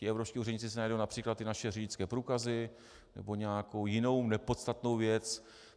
Ti evropští úředníci si najdou například ty naše řidičské průkazy nebo nějakou jinou nepodstatnou věc.